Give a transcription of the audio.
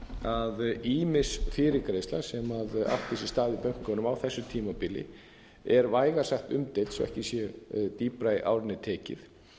að ýmis fyrirgreiðsla sem átti sér stað í bönkunum á þessu tímabili er vægast sagt umdeild svo ekki sé dýpra í árinni tekið